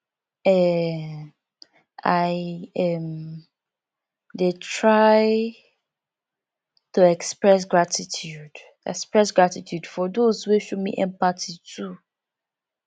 um i um dey try to express gratitude express gratitude for those wey show me empathy too